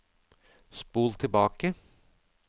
spol tilbake